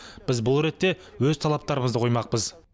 біз бұл ретте өз талаптарымызды қоймақпыз